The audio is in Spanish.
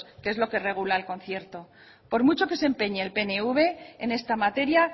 que es lo que regula el concierto por mucho que se empeñe el pnv en esta materia